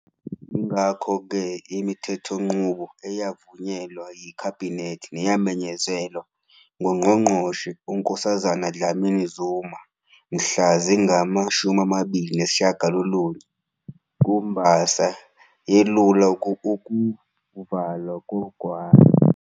Yingakho-ke, imithethonqubo eyavunyelwa yiKhabhinethi neyamenyezelwa nguNgqongqoshe uNkosazana Dlamini-Zuma mhla zingama-29 kuMbasa yelula ukuvalwa kogwayi.